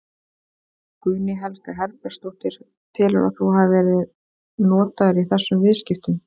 Guðný Helga Herbertsdóttir: Telurðu að þú hafi verið notaður í þessum viðskiptum?